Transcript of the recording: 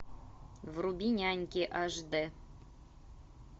вруби няньки аш д